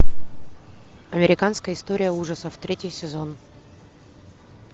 американская история ужасов третий сезон